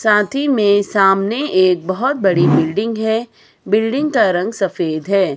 साथ ही में सामने एक बहुत बड़ी बिल्डिंग है बिल्डिंग का रंग सफेद है।